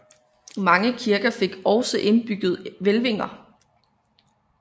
Mange kirker fik ogsâ indbygget hvælvinger